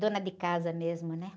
Dona de casa mesmo, né?